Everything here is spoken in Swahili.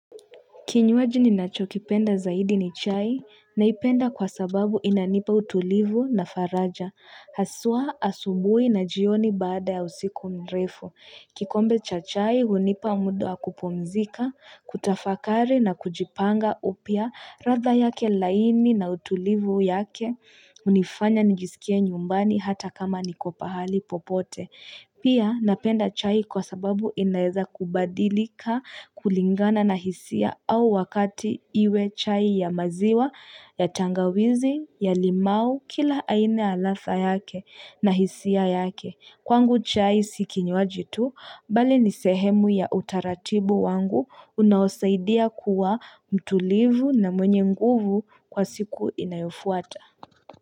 Kinywaji ni nacho kipenda zaidi ni chai, naipenda kwa sababu inanipa utulivu na faraja. Haswaa, asubuhi na jioni baada ya usiku mrefu. Kikombe cha chai, hunipa muda wa kupumzika, kutafakari na kujipanga upya ratha yake laini na utulivu yake. Hunifanya nijisikie nyumbani hata kama nikopahali popote. Pia napenda chai kwa sababu inaeza kubadilika kulingana na hisia au wakati iwe chai ya maziwa, ya tangawizi, ya limau, kila aina ya latha yake na hisia yake. Kwangu chai sikinywaji tu, bali nisehemu ya utaratibu wangu unawosaidia kuwa mtulivu na mwenye nguvu kwa siku inayofuata.